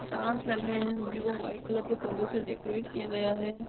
Stars कागे है blue और व्हाइट परदो से डेकरैट किया गया है।